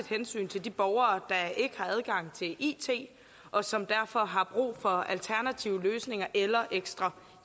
hensyn til de borgere der ikke har adgang til it og som derfor har brug for alternative løsninger eller ekstra